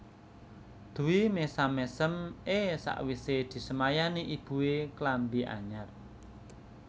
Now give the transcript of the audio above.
Dwi mesam mesem e sakwise disemayani ibue klambi anyar